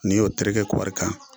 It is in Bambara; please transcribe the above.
N'i y'o terekɛ koɔri kan